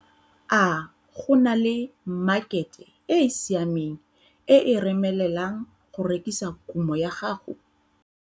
A go na le makhete e e siameng e e remelelang go rekisa kumo ya gago?